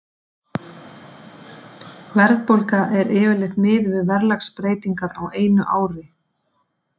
Verðbólga er yfirleitt miðuð við verðlagsbreytingar á einu ári.